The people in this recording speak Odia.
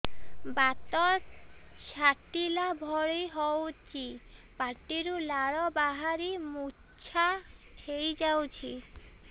ବାତ ଛାଟିଲା ଭଳି ହଉଚି ପାଟିରୁ ଲାଳ ବାହାରି ମୁର୍ଚ୍ଛା ହେଇଯାଉଛି